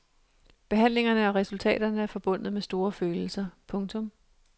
Behandlingerne og resultaterne er forbundet med store følelser. punktum